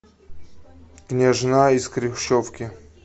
княжна из хрущевки